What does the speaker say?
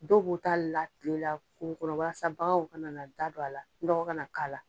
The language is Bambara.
Dɔw b'o ta la tile la kungo kɔnɔ walasa baganw kana na da don a la nɔgɔ ka na k'a la.